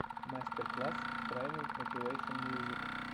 мастер класс трайнинг мотивэйшен мьюзик